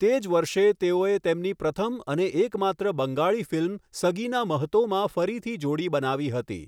તે જ વર્ષે, તેઓએ તેમની પ્રથમ અને એકમાત્ર બંગાળી ફિલ્મ સગીના મહતોમાં ફરીથી જોડી બનાવી હતી.